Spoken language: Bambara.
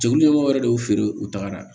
Cɛkulu ɲɛmɔgɔ yɛrɛ de y'u feere u tagara